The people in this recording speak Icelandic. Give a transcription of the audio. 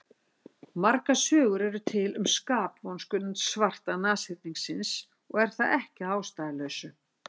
Margar sögur eru til um skapvonsku svarta nashyrningsins og er það ekki að ástæðulausu.